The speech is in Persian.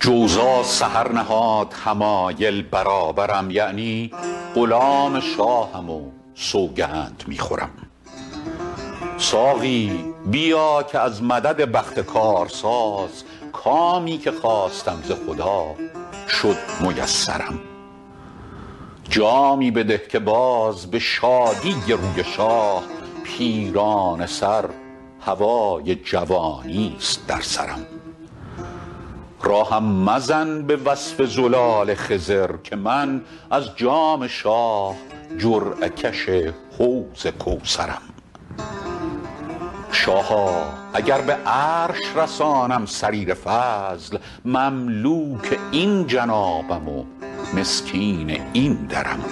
جوزا سحر نهاد حمایل برابرم یعنی غلام شاهم و سوگند می خورم ساقی بیا که از مدد بخت کارساز کامی که خواستم ز خدا شد میسرم جامی بده که باز به شادی روی شاه پیرانه سر هوای جوانیست در سرم راهم مزن به وصف زلال خضر که من از جام شاه جرعه کش حوض کوثرم شاها اگر به عرش رسانم سریر فضل مملوک این جنابم و مسکین این درم